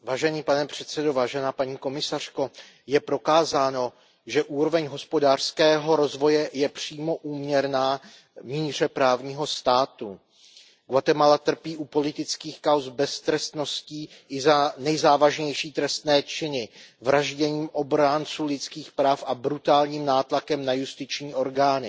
Pane předsedající, paní komisařko, je prokázáno, že úroveň hospodářského rozvoje je přímo úměrná míře právního státu. Guatemala trpí u politických kauz beztrestností i za nejzávažnější trestné činy vraždění obránců lidských práv a brutálním nátlakem na justiční orgány.